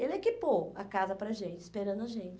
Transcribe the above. Ele equipou a casa para a gente, esperando a gente.